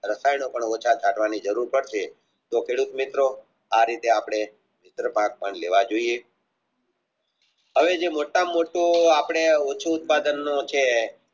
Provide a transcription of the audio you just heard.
રસાયણો ઓછા કાઢવાની જરૂર પડશે તો ખેડૂત મિત્રો આ રીતે આપણે અને જે મોટા માં મોટો ઓછું ઉત્પાદનનું છે